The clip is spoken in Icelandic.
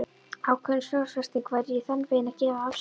Ákveðin fjárfesting væri í þann veginn að gefa af sér.